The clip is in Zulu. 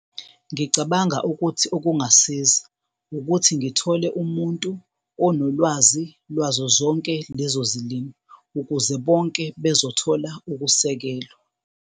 Ngicabanga ukuthi okungasiza ukuthi ngithole umuntu onolwazi lwazo zonke lezo zilimi ukuze bonke bezothola ukusekelwa.